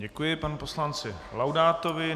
Děkuji panu poslanci Laudátovi.